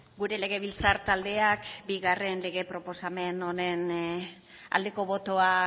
gure legebiltzar taldeak bigarren lege proposamen honen aldeko botoa